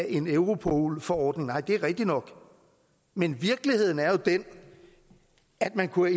en europol forordning nej det er rigtigt nok men virkeligheden er jo den at man kunne